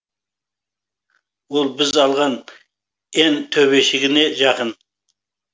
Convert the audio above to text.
ол біз алған н төбешігіне жақын